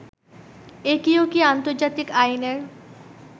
এটিও কি আন্তর্জাতিক আইনের